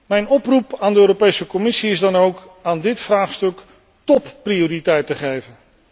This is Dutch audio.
Mijn oproep aan de Commissie is dan ook aan dit vraagstuk topprioriteit te geven.